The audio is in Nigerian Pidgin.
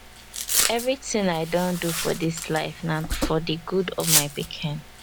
Everytin i don do for dis life na for di gud of my pikin